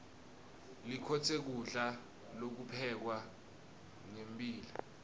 likhotse kulda lokuphekwe ngembila